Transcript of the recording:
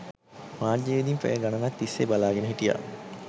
මාධ්‍යවේදීන් පැය ගණනක් තිස්සේ බලාගෙන හිටියා.